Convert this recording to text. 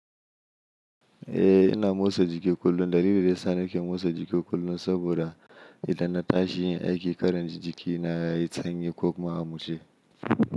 Eh ina motsa jiki kullum. Dalilin da yasa nake motsa jiki kullum saboda idan na tashi yin aiki, karin jiki na yayi sanyi ko kuma ya mushe.